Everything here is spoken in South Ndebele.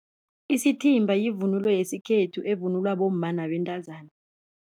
Isithimba yivunulo yesikhethu evunulwa bomma nabentazana.